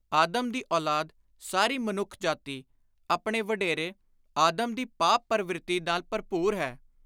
ਆਦਮ ਦੀ ਔਲਾਦ (ਸਾਰੀ ਮਨੁੱਖ ਜਾਤੀ) ਆਪਣੇ ਵਡੇਰੇ (ਆਦਮ) ਦੀ ਪਾਪ ਪਰਵਿਰਤੀ ਨਾਲ ਭਰਪੁਰ ਹੈ।